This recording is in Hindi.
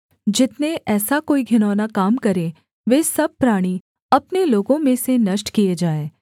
जितने ऐसा कोई घिनौना काम करें वे सब प्राणी अपने लोगों में से नष्ट किए जाएँ